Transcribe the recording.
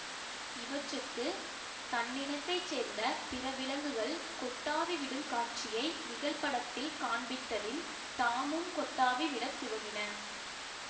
இவற்றுக்கு தன்னினத்தைச் சேர்ந்த பிற விலங்குகள் கொட்டாவி விடும் காட்சியை நிகழ்படத்தில் காண்பித்ததில் தாமும் கொட்டாவி விட துவங்கின